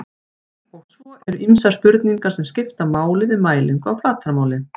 svo eru ýmsar spurningar sem skipta máli við mælingu á flatarmáli